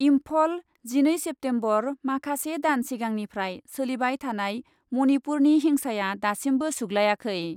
इम्फल, जिनै सेप्तेम्बर, माखासे दान सिगांनिफ्राय सोलिबाय थानाय मणिपुरनि हिंसाया दासिमबो सुग्लायाखै।